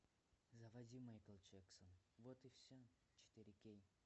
заводи майкл джексон вот и все четыре кей